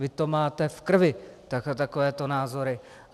Vy to máte v krvi, takovéto názory.